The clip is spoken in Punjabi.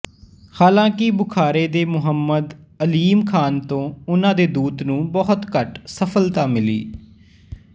ਹਾਲਾਂਕਿ ਬੁਖਾਰੇ ਦੇ ਮੁਹੰਮਦ ਅਲੀਮ ਖ਼ਾਨ ਤੋਂ ਉਹਨਾਂ ਦੇ ਦੂਤ ਨੂੰ ਬਹੁਤ ਘੱਟ ਸਫਲਤਾ ਮਿਲੀ